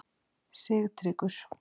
Sigtryggur